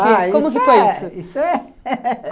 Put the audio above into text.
Como que foi isso? ah, isso é